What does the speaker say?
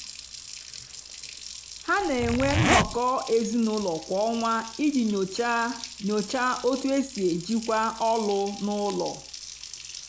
ha na-enwe nnọkọ ezinụlọ kwa ọnwa iji nyochaa nyochaa otú e si ejikwa ọlụ n’ụlọ.